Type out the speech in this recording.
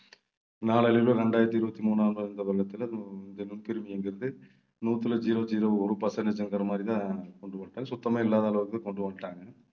நாளடைவில இரண்டாயிரத்தி இருபத்தி மூணாவது இந்த வருடத்துல இந்த நுண்கிருமிங்கிறது, நூத்துல zero zero ஒரு percentage ங்கிற மாதிரிதான் கொண்டு வந்துட்டாங்க சுத்தமே இல்லாத அளவுக்கு கொண்டு வந்துட்டாங்க